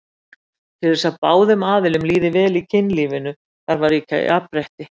Til þess að báðum aðilum líði vel í kynlífinu þarf að ríkja jafnrétti.